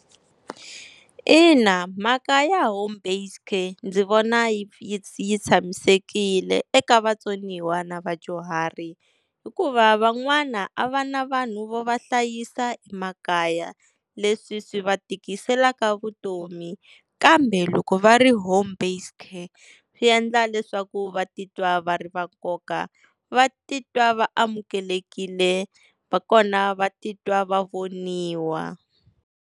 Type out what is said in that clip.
Ina mhaka ya home based care ndzi vona yi yi yi tshamisekile eka vatsoniwa na vadyuhari, hikuva van'wana a va na vanhu vo va hlayisa emakaya leswi swi va tikiselaka vutomi. Kambe loko va ri home based care swi endla leswaku va titwa va ri va nkoka, va titwa va amukelekile na kona va titwa va voniwa.